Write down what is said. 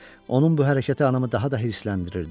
Onun bu hərəkəti anamı daha da hirsləndirirdi.